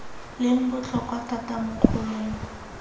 leng botlhokwa thata mo kgolong